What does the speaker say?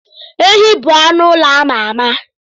Ehi bụ anụ ụlọ ama ama.